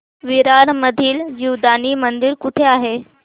विरार मधील जीवदानी मंदिर कुठे आहे